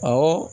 Awɔ